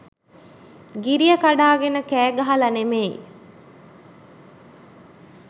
ගිරිය කඩාගෙන කෑගහලා නෙමෙයි.